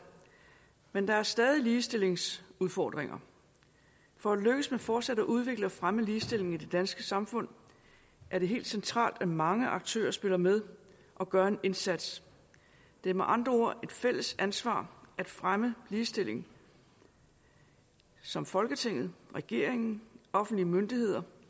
men der er stadig ligestillingsudfordringer for at lykkes med fortsat at udvikle og fremme ligestillingen i det danske samfund er det helt centralt at mange aktører spiller med og gør en indsats det er med andre ord et fælles ansvar at fremme ligestilling som folketinget regeringen offentlige myndigheder